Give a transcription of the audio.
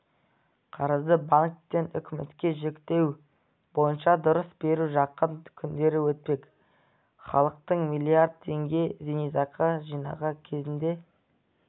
қарызды банктен үкіметке жүктеу бойынша дауыс беру жақын күндері өтпек халықтың млрд теңге зейнетақы жинағы кезінде